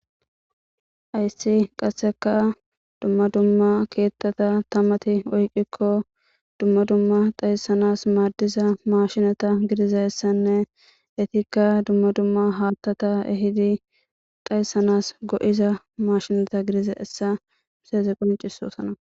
Hayssi qasseka dumma dumma keettata tamati oyqikko dumma dumma dhayssanas maaddiza mashineta gidizayssanne etikka dumma dumma haattata ehidi dhaysanas go'iza mashineta gidizayssa qoncisosana.